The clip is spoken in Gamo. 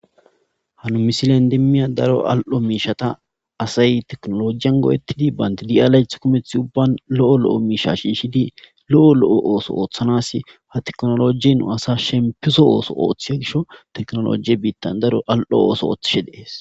hanu misile endemmiya daro al7o miishata asay teknolojiyan goodettidi baynti di7alayth kumeth ubban lo7o lo7o miisha shiishidi lo7o lo7o ooso ooththanas ha teknolojnu asa shempiso ooso ooththi gisho teknolojiye biittan daro al7o ooso ooththishe dees